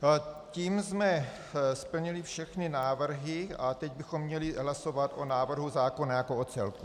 Tím jsme splnili všechny návrhy a teď bychom měli hlasovat o návrhu zákona jako o celku.